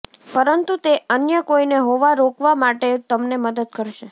પરંતુ તે અન્ય કોઈને હોવા રોકવા માટે તમને મદદ કરશે